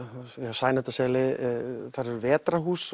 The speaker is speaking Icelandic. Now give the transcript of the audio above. Sæmundarseli þar eru